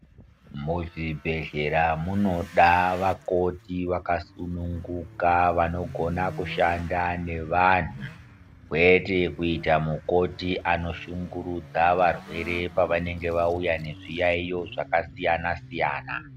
Muzvibhehleya munoda vakoti vakasununguka vanogona kushanda nevanhu kwete kuita mukoti anoshingurudza varwere pavanenge vauya nezvi yaiyo zvakasiyana siyana.